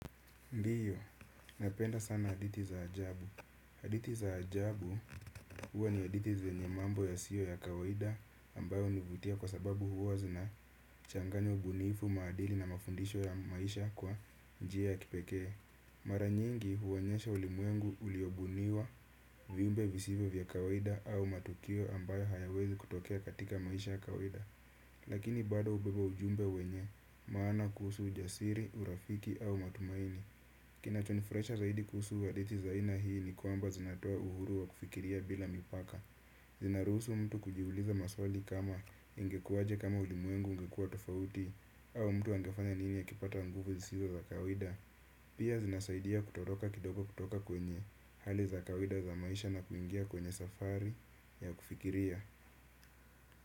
Ndiyo, napenda sana hadithi za ajabu. Hadithi za ajabu huwa ni hadithi zenye mambo yasiyo ya kawaida ambayo hunivutia kwa sababu huwa zina changanya ubuniifu maadili na mafundisho ya maisha kwa njia ya kipekee. Maranyingi huonyesha ulimwengu uliobuniwa viumbe visivyo vya kawaida au matukio ambayo hayawezi kutokea katika maisha ya kawaida. Lakini bado hubeba ujumbe wenye maana kuhusu ujasiri, urafiki au matumaini. Kinachonifurahisha zaidi kuhusu hadithi za aina hii ni kwamba zinatoa uhuru wa kufikiria bila mipaka. Zinaruhusu mtu kujiuliza maswali kama ingekuaje kama ulimwengu ungekuwa tofauti au mtu angefanya nini akipata nguvu zisizo za kawaida. Pia zinasaidia kutoroka kidogo kutoka kwenye hali za kawaida za maisha na kuingia kwenye safari ya kufikiria.